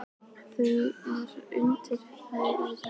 Launaðu mér nú þjónustuna og gefðu mér kjark!